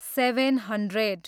seven hundred